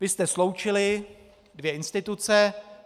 Vy jste sloučili dvě instituce.